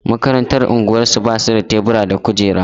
Makarantar unguwarsu ba su da tebura da kujera.